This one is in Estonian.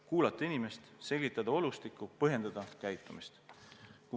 Kuulata inimest, selgitada olustikku, põhjendada käitumist.